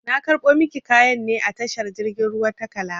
Na karɓo maki kayan ne a tashar jirgin ruwa ta kalaba